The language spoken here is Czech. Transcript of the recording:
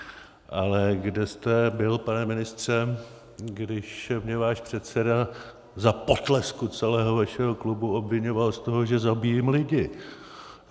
Ale kde jste byl, pane ministře, když mě váš předseda za potlesku celého vašeho klubu obviňoval z toho, že zabíjím lidi?